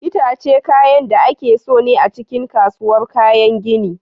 Itace kayan da ake son a cikin kasuwar kayan gini.